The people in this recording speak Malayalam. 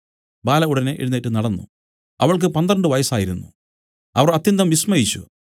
ബാല ഉടനെ എഴുന്നേറ്റ് നടന്നു അവൾക്ക് പന്ത്രണ്ട് വയസ്സായിരുന്നു അവർ അത്യന്തം വിസ്മയിച്ചു